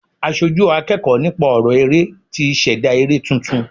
Aṣojú akẹ́kọ̀ọ́ nípa ọrọ eré tí ṣẹ̀dá eré tuntun.